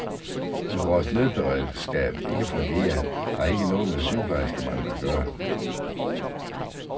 At vores nødberedskab ikke fungerer har ikke noget med sygeplejerskemangel at gøre.